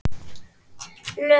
Lögin heimila það.